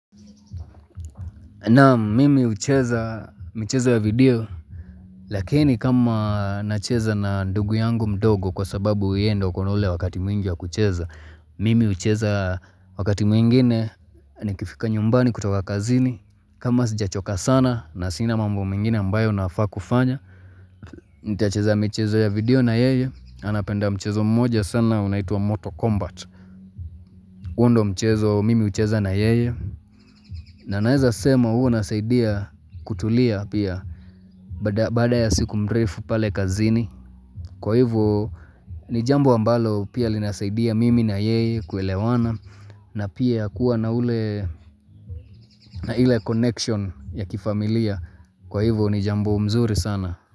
Naam mimi hucheza michezo ya video Lakini kama nacheza na ndugu yangu mdogo kwa sababu yeye ndo uko na wakati mwingi wa kucheza Mimi hucheza wakati mwingine nikifika nyumbani kutoka kazini kama sijachoka sana na sina mambo mingine ambayo nafaa kufanya Nitacheza mchezo ya video na yeye Anapenda mchezo mmoja sana unaitua moto Combat huo ndo mchezo mimi hucheza na yeye na naeza sema huo nasaidia kutulia pia baada ya siku mrefu pale kazini kwa hivo ni jambo ambalo pia linasaidia mimi na yeye kuelewana na pia kuwa na ule na ile connection ya kifamilia kwa hivo ni jambo mzuri sana.